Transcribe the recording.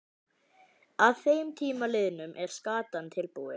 Að þeim tíma liðnum er skatan tilbúin.